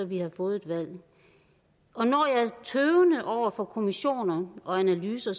vi har fået et valg og når jeg er tøvende over for kommission og analyser